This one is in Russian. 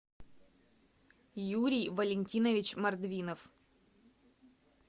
юрий валентинович мордвинов